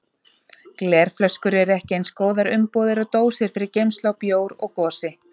Glerflöskur eru ekki eins góðar umbúðir og dósir fyrir geymslu á bjór og gosi.